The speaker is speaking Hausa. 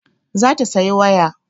Za ta saya waya